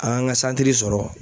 An ŋ'an ŋa santiri sɔrɔ